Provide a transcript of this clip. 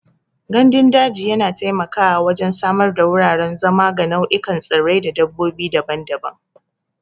Gandun daji yana taimakawa wajen samar da wuraren zama ga nau'ikan tsirrai da dabbobi daban-daban.